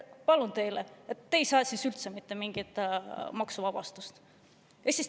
Palun väga, siis ei saa te üldse mitte mingisugust maksuvabastust!